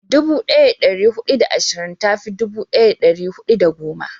dubu daya da dari hudu da ashirin ta fi dubu daya da dari hudu da goma